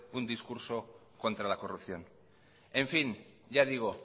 un discurso contra la corrupción en fin ya digo